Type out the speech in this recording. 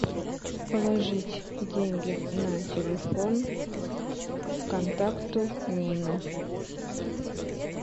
положить деньги на телефон контакту нина